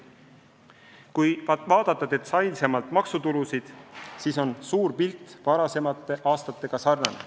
Kui vaadata detailsemalt maksutulusid, siis on suur pilt varasemate aastate omaga sarnane.